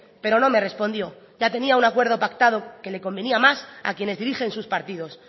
pero no me respondió ya tenía un acuerdo pactado que le convenía más a quienes dirigen sus partidos